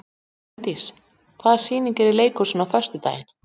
Hraundís, hvaða sýningar eru í leikhúsinu á föstudaginn?